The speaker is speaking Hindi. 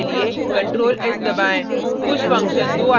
फाइल को सेव करने के लिए ctrl + s दबाएँ